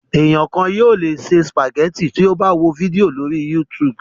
Ènìyàn kan yóò le se sìpàgẹ́tì tí ó bá wo fídíò lórí YouTube.